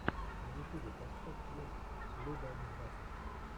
на ютюбе поставь твинс лидаэндната